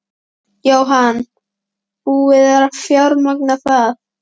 Jóhann: Búið að fjármagna það?